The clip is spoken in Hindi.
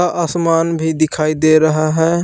आसमान भी दिखाई दे रहा है।